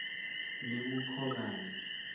nemukovhani